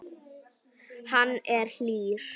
Hann er hlýr.